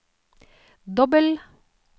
dobbel